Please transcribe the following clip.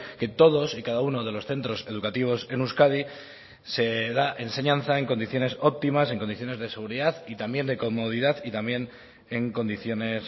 que todos y cada uno de los centros educativos en euskadi se da enseñanza en condiciones óptimas en condiciones de seguridad y también de comodidad y también en condiciones